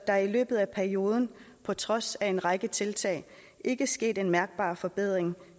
er i løbet af perioden på trods af en række tiltag ikke sket en mærkbar forbedring